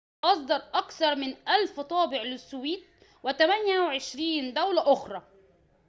أصدر أكثر من 1,000 طابع للسويد و28 دولة أخرى